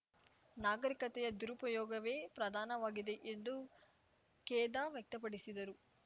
ನಾಗರಿಕತೆಯ ದುರುಪಯೋಗವೇ ಪ್ರಧಾನವಾಗಿದೆ ಎಂದು ಖೇದ ವ್ಯಕ್ತಪಡಿಸಿದರು